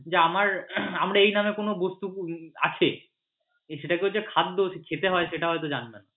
যে আমার এই নামে কোন বস্তু আছে সেটাকেও যে খাদ্য খেতে হয় সেটা হয়ত জানবে।